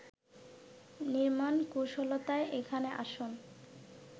নির্মাণ কুশলতাই এখানে আসল